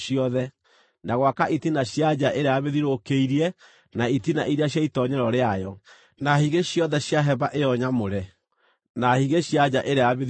na gwaka itina cia nja ĩrĩa yamĩthiũrũrũkĩirie na itina iria cia itoonyero rĩayo, na higĩ ciothe cia hema ĩyo nyamũre, na higĩ cia nja ĩrĩa yamĩthiũrũrũkĩirie.